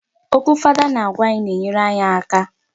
Okwu fada ọ na-agwa anyị na-enyere anyị aka.